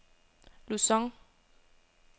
Luzon